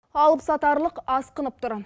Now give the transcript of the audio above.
алыпсатарлық асқынып тұр